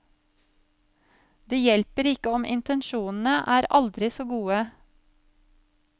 Det hjelper ikke om intensjonene er aldri så gode.